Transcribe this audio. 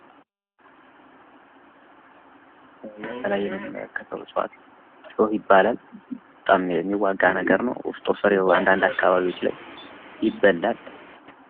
የተለያየ መኖሪያ ከተሞች ጋር ይገኛል እሾህ ይባላል በጣም የሚዋጋ ነገር ነው ውስጡ ፈር የሆነ አንዳንድ አካባቢዎች ላይ ይበለን።